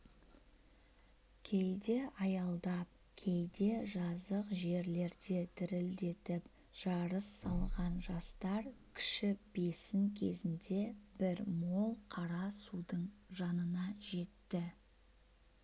кейде аялдап кейде жазық жерлерде дүрілдетіп жарыс салған жастар кіші бесін кезінде бір мол қара судың жанына жетті